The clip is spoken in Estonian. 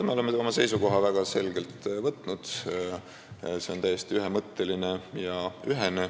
Me oleme väga selge seisukoha võtnud, see on täiesti ühemõtteline ja ühene.